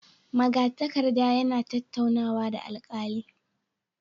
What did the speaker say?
Magatakarda yana tattaunawa da alkali